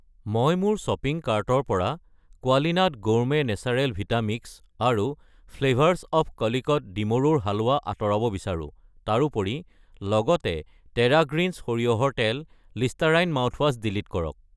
মই মোৰ শ্বপিং কাৰ্টৰ পৰা Qualinut gourmet natural vita mix আৰু ফ্লেভাৰছ অৱ কলিকট ডিমৰুৰ হালৱা আঁতৰাব বিচাৰো। তাৰোপৰি লগতে টেৰা গ্ৰীণছ সৰিয়হৰ তেল , লিষ্টাৰাইন মাউথৱাছ ডিলিট কৰক।